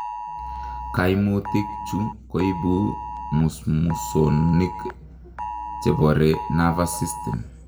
Kaimutik chuu koibu musmusonik cheboree nervous sysytem